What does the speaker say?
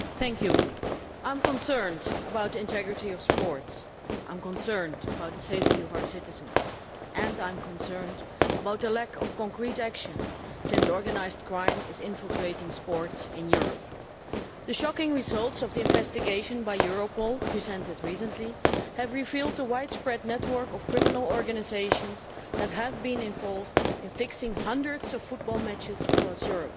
Mr President, I am concerned about the integrity of sport, I am concerned about the safety of our citizens and I am concerned about the lack of concrete action, since organised crime is infiltrating sport in Europe. The shocking results of the investigation by Europol, which were presented recently, have revealed a widespread network of criminal organisations that have been involved in fixing hundreds of football matches across Europe.